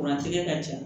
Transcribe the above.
Kuran tigɛ ka ca